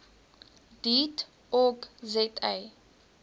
deat org za